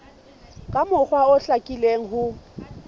ka mokgwa o hlakileng ho